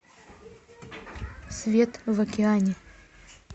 свет в океане